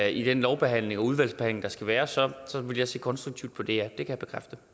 i den lovbehandling og udvalgsbehandling der skal være så vil jeg se konstruktivt på det det kan